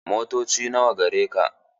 Motoci nawa gareka?